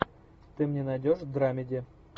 ты мне найдешь драмеди